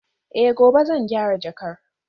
Eh gobe zan gyara jakar